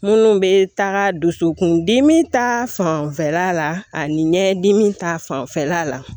Minnu bɛ taga dusukun dimi ta fanfɛla la ani ɲɛdimi ta fanfɛla la